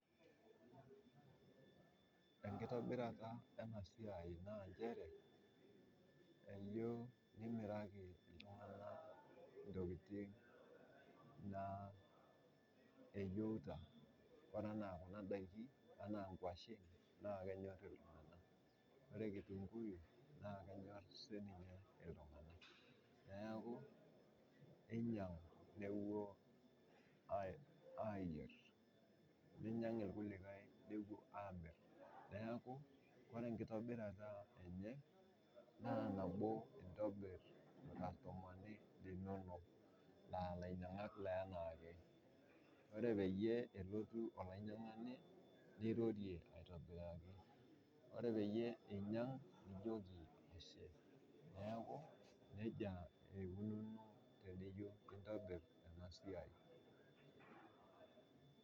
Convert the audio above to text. Enkitobirata ena siai naa inchere ijo nimiraki ltungana ntokitin naa nayeuta, ore anaa kuna daki anaa nkoshen naa kenyor ltunganak, ore nkitunguyu naa kenyorr si ninye ltungana, naaku einyang' nepuo amir. Einyang'u sii lkulikai nepuo aamir naaku ore nkitobirata enye naa nabo intobir lkastomani linono aa lainyang'ak le anaake, ore peyie elotu olainyang'ani nirorie aitobiraki, ore peyie einyang' nijoki ashe, naaku eikununo tenijo aitobir ena siai.